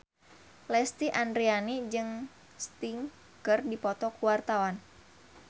Lesti Andryani jeung Sting keur dipoto ku wartawan